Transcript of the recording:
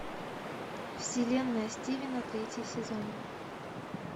вселенная стивена третий сезон